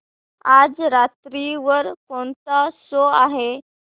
आज रात्री वर कोणता शो आहे